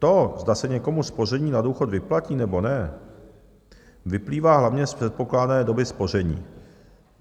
To, zda se někomu spoření na důchod vyplatí, nebo ne, vyplývá hlavně z předpokládané doby spoření.